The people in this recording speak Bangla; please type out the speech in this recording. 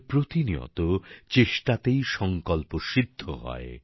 আমাদের প্রতিনিয়ত চেষ্টাতেই সংকল্প সিদ্ধ হয়